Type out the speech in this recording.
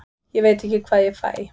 Ég veit ekki hvað ég fæ.